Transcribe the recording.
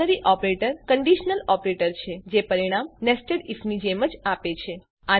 ternary operator conditional operator છે જે પરિણામ nested આઇએફ ની જેમ જ આપે છે